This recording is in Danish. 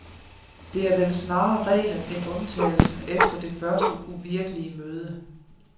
Det er vel snarere reglen end undtagelsen efter det første uvirkelige møde.